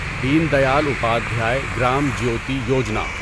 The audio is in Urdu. دین دیال اپادھیائے گرام جیوتی یوجنا